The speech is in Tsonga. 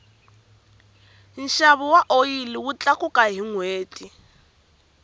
nxavo wa oyili wu tlakuka hi nhweti